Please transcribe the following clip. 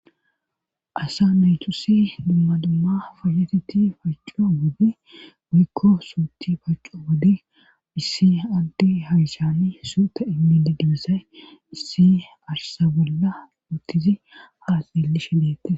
Asa naytusi dumma dumma fayateti pacco goode wiikko suuti pacco wode issi adde haishani suuta immidi dibissae issi arsa bolla uttizi haa lelli shi deette.